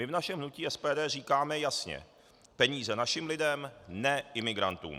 My v našem hnutí SPD říkáme jasně: peníze našim lidem, ne imigrantům.